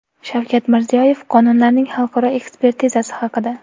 Shavkat Mirziyoyev qonunlarning xalqaro ekspertizasi haqida.